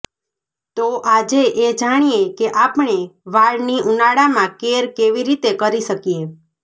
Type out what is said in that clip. તો આજે એ જાણીએ કે આપણે વાળની ઉનાળામાં કેર કેવી રીતે કરી શકીએ